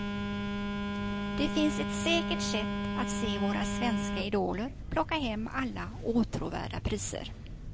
Det finns ett säkert sätt att se våra svenska idoler plocka hem alla åtråvärda priser.